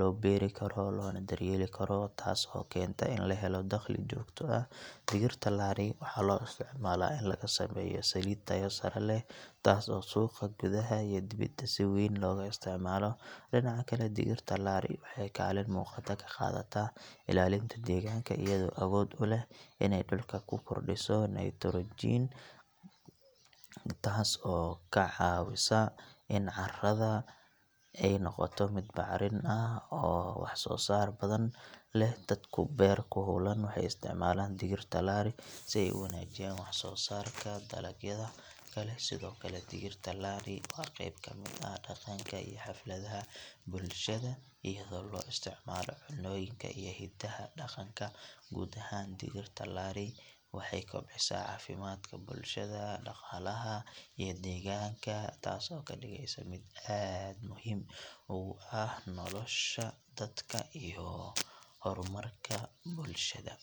loo beeri karo loona daryeeli karo taas oo keenta in la helo dakhli joogto ah digirta laari waxaa loo isticmaalaa in laga sameeyo saliid tayo sare leh taas oo suuqa gudaha iyo dibadda si weyn looga isticmaalo dhinaca kale digirta laari waxay kaalin muuqata ka qaadataa ilaalinta deegaanka iyadoo awood u leh inay dhulka ku kordhiso nitrogen taas oo ka caawisa in carrada ay noqoto mid bacrin ah oo wax soo saar badan leh dadka beerta ku hawlan waxay isticmaalaan digirta laari si ay u wanaajiyaan wax soo saarka dalagyada kale sidoo kale digirta laari waa qayb ka mid ah dhaqanka iyo xafladaha bulshada iyadoo loo isticmaalo cunnooyinka iyo hadiyadaha dhaqanka guud ahaan digirta laari waxay kobcisaa caafimaadka bulshada, dhaqaalaha, iyo deegaanka taas oo ka dhigaysa mid aad muhiim ugu ah nolosha dadka iyo horumarka bulshada.